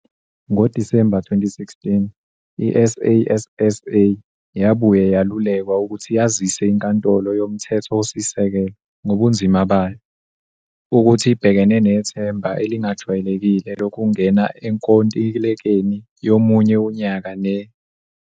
NgoDisemba 2016, i-SASSA yabuye yalulekwa ukuthi yazise iNkantolo Yomthethosisekelo ngobunzima bayo, "ukuthi ibhekene nethemba elingajwayelekile lokungena enkontilekeni yomunye unyaka ne- ".